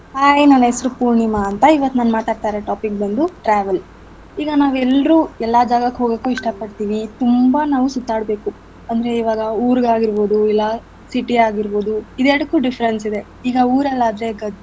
Hai ನನ್ ಹೆಸ್ರು ಪೂರ್ಣಿಮಾ ಅಂತ ಇವತ್ ನಾನ್ ಮಾತಾಡ್ತಿರೊ topic ಬಂದು travel . ಈಗ ನಾವೆಲ್ರು ಎಲ್ಲ ಜಾಗಕ್ಕೂ ಹೋಗಕ್ಕೂ ಇಷ್ಟ ಪಡ್ತೀವಿ ತುಂಬಾ ನಾವ್ ಸುತ್ತಾಡ್ಬೇಕು ಅಂದ್ರೆ ಇವಾಗ ಊರಿಗ್ ಆಗಿರ್ಬೋದು ಇಲ್ಲ city ಆಗಿರ್ಬೋದು ಇವ್ ಎರ್ಡಕ್ಕು difference ಇದೆ ಈಗ ಊರಲ್ ಆದ್ರೆ ಗದ್ದೆ.